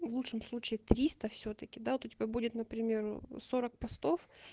в лучшем случае три сто всё-таки да вот у тебя будет например сорок постов